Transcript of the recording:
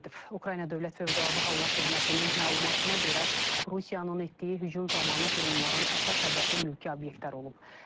Ukrayna Dövlət Fövqəladə Hallar Xidmətinin məlumatına görə, Rusiyanın etdiyi hücum zamanı dronların əsas hədəfi mülki obyektlər olub.